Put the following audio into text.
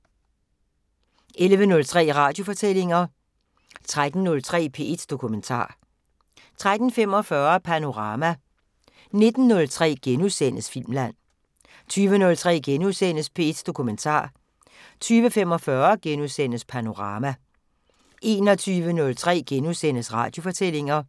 05:03: Eksistens * 09:05: Netværket 10:03: Iran – fra paria til partner 2:6 (Afs. 2) 11:03: Radiofortællinger 13:03: P1 Dokumentar 13:45: Panorama 19:03: Filmland * 20:03: P1 Dokumentar * 20:45: Panorama * 21:03: Radiofortællinger *